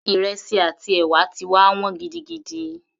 Ìrẹsì àti ẹ̀wà ti wá wọ́n gidigidi